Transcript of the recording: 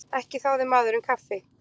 Ekki þáði maðurinn kaffi.